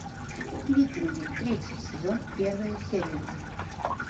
викинги третий сезон первая серия